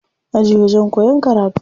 Aji wajen koyan karatu ne.